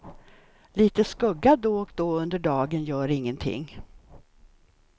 Lite skugga då och då under dagen gör ingenting.